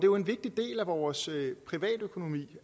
jo en vigtig del af vores privatøkonomi